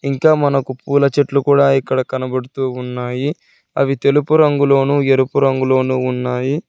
ఇంకా మనకు పూల చెట్లు కూడా ఇక్కడ కనబడుతూ ఉన్నాయి అవి తెలుపు రంగులోను ఎరుపు రంగులో ఉన్నాయి.